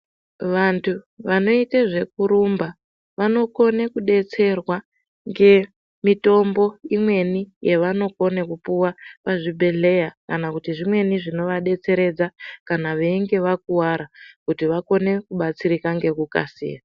Vantu vanoite zvekurumba vanokona kudetserwa ngemitombo imweni yevanokone kupiwa pazvibhedhlera kana kuti zvimweni zvinovadetseredza kana veinge vakuwara kuti vakone kubatsirika ngekukasira.